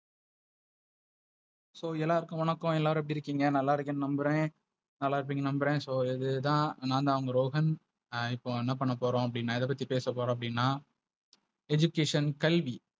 So எல்லாருக்கும் வணக்கம் எல்லாரும் எப்படி இருக்கிங்க நல்ல இருக்கிங்கனு நம்புறே, நல்ல இருப்பிங்கனு நம்புரே. So இதுத நாந்த உங்க ரோஹன் நான் இப்போ என்ன பண்ணபோறோம்நா எத பத்தி பேச போறோம் அப்டினா Education கல்வி.